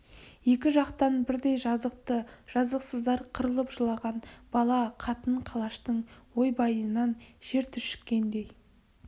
екі жақтан бірдей жазықты жазықсыздар қырылып жылаған бала қатын-қалаштың ойбайынан жер түршіккендей